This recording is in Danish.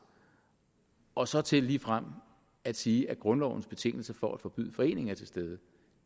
og så til ligefrem at sige at grundlovens betingelse for at forbyde foreningen er til stede